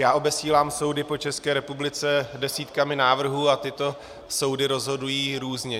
Já obesílám soudy po České republice desítkami návrhů a tyto soudy rozhodují různě.